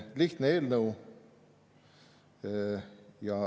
Lihtne eelnõu.